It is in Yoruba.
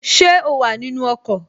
Ṣé o wà nínu ọkọ̀?